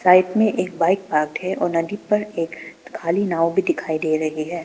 Side में एक bike park है और नदी पर एक खाली नाव भी दिखाई दे रही है।